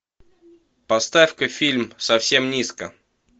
поставь ка фильм совсем низко